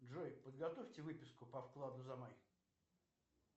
джой подготовьте выписку по вкладу за май